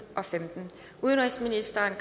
og femten udenrigsministeren